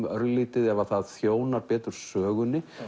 örlítið ef að það þjónar betur sögunni